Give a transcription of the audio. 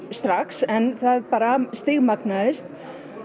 strax en það bara stigmagnaðist